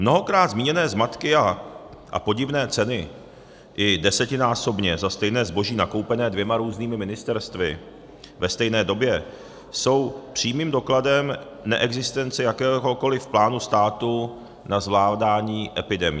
Mnohokrát zmíněné zmatky a podivné ceny, i desetinásobně za stejné zboží nakoupené dvěma různými ministerstvy ve stejné době, jsou přímým dokladem neexistence jakéhokoli plánu státu na zvládání epidemií.